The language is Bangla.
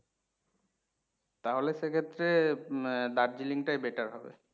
তাহলে সেক্ষেত্রে আহ Darjeeling টাই better হবে।